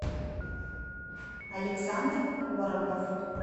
александр коробов